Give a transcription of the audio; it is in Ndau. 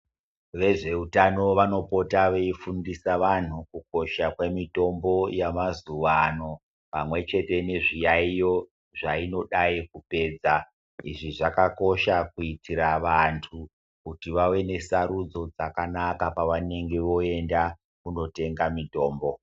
Vezveutano vanopota veifundisa vantu kukosha kwemitombo yamazuvano pamwechete nezviyaiyo zvainodayi kupedza, izvi zvakakosha kuitira vantu kuti vave nesarudzo dzakanaka pavanenge voenda kundotenga mitombo.